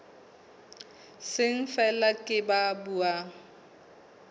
seng feela ke ba buang